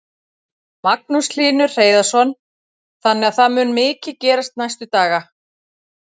Magnús Hlynur Hreiðarsson: Þannig að það mun mikið gerast næstu daga?